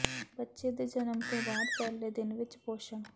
ਬੱਚੇ ਦੇ ਜਨਮ ਤੋਂ ਬਾਅਦ ਪਹਿਲੇ ਦਿਨ ਵਿੱਚ ਪੋਸ਼ਣ